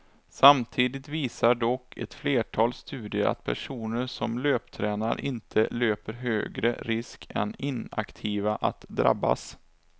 Samtidigt visar dock ett flertal studier att personer som löptränar inte löper högre risk än inaktiva att drabbas.